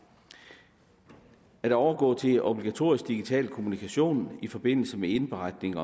at overgå til obligatorisk digital kommunikation i forbindelse med indberetning